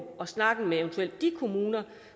og snakken med eventuelt de kommuner